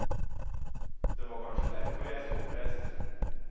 Det var kanskje derfor jeg sto oppreist.